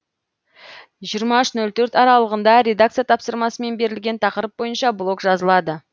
жиырма үш ноль төрт аралығында редакция тапсырмасымен берілген тақырып бойынша блог жазылады